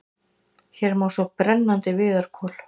Hér má sjá brennandi viðarkol.